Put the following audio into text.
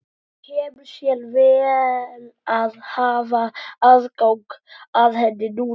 Kemur sér vel að hafa aðgang að henni núna!